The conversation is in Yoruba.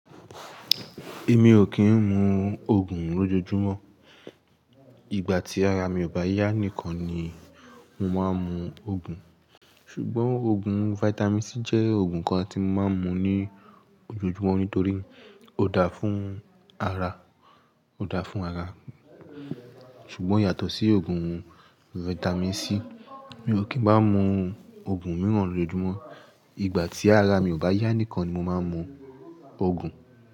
Èmi ò kì í mu Ògùn lójojúmọ́. Ìgbà tí ara mi ò bá yá nìkan ni mo máa ń mu Ògùn. Ṣùgbọ́n Ògùn vitamin C jẹ́ Ògùn kan tí mo máa ń mu ní ojojúmọ́ nítorí ó dáa fún ara, ó dáa fún ara. Ṣùgbọ́n yàtọ̀ sí Ògùn vitamin C, mi ò kì í má ń mu Ògùn mìíràn lójojúmọ́. Ìgbà tí ara mi ò bá yá nìkan ni mo máa ń mu Ògùn.